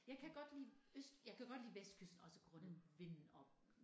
Jeg kan godt lide øst jeg kan godt lige vestkysten også grundet vinden og